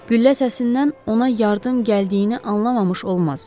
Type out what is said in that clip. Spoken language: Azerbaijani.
Güllə səsindən ona yardım gəldiyini anlamamış olmaz.